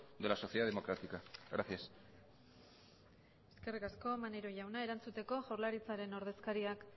de la sociedad democrática gracias eskerrik asko maneiro jauna erantzuteko jaurlaritzaren ordezkariak